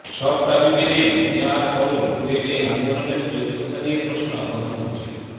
সব দাবি মেনে নেয়ার পরও বুয়েটে আন্দোলনের যৌক্তিকতা নিয়ে প্রশ্ন প্রধানমন্ত্রীর